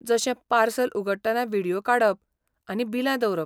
जशें पार्सल उगडटना व्हिडियो काडप आनी बिलां दवरप.